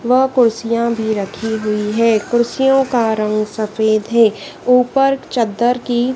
वह कुर्सियां भी रखी हुई है कुर्सियों का रंग सफेद है ऊपर चद्दर की--